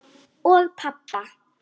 Og pabba.